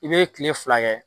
I bɛ kile fila kɛ.